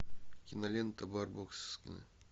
кинолента барбоскины